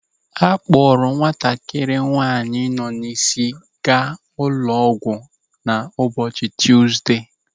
A kpọrọ nwatakịrị nwaanyị nọ n'isi gaa ụlọ ọgwụ na ụbọchị Tuzdee.